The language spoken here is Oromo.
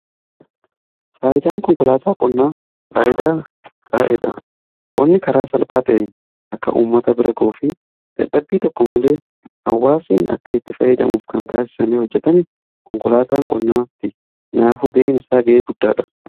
Faayidaan konkolaataa qonnaa faayidaa bareedaadha. Qonni karaa salphaa ta'een akka ummata bira ga'uu dadhabbii tokko malee hawwaasni akka itti fayyidamuuf kan taasisame hojjetame konkolaataan qonnaati. Kaanaafuu ga'een isaa ga'ee guddaadha.